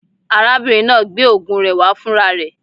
Arábìnrin náà gbé ògùn rẹ wá fún ra rẹ